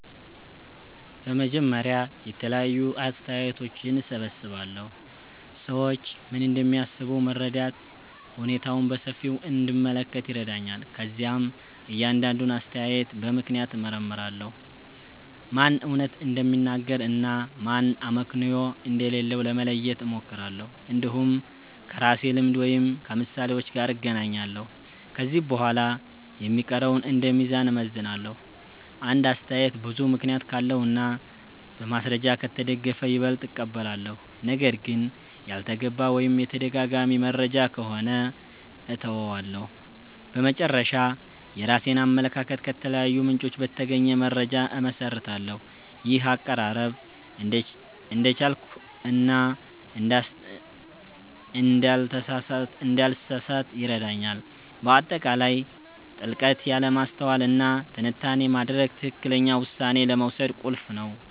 በመጀመሪያ የተለያዩ አስተያየቶችን እሰብስባለሁ። ሰዎች ምን እንደሚያስቡ መረዳት ሁኔታውን በሰፊው እንድመለከት ይረዳኛል። ከዚያም እያንዳንዱን አስተያየት በምክንያት እመርምራለሁ፤ ማን እውነት እንደሚናገር እና ማን አመክንዮ እንደሌለው ለመለየት እሞክራለሁ። እንዲሁም ከራሴ ልምድ ወይም ከምሳሌዎች ጋር እናገናኛለሁ። ከዚህ በኋላ የሚቀረውን እንደ ሚዛን እመዝናለሁ። አንድ አስተያየት ብዙ ምክንያት ካለው እና በማስረጃ ከተደገፈ ይበልጥ እቀበላለሁ። ነገር ግን ያልተገባ ወይም የተደጋጋሚ መረጃ ከሆነ እተወዋለሁ። በመጨረሻ፣ የራሴን አመለካከት ከተለያዩ ምንጮች በተገኘ መረጃ እመሰርታለሁ። ይህ አቀራረብ እንዳልቸኩል እና እንዳልተሳሳት ይረዳኛል። በአጠቃላይ ጥልቀት ያለ ማስተዋል እና ትንታኔ ማድረግ ትክክለኛ ውሳኔ ለመውሰድ ቁልፍ ነው